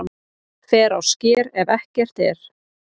Fer á sker ef ekki er